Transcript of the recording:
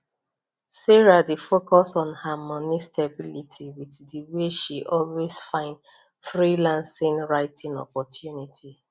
sarah dey focus on her money stability with the way she always find freelancing writing opportunities